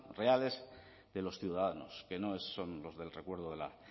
reales de los ciudadanos que no son los del recuerdo de la